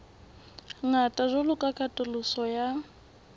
ngata jwalo ka katoloso ya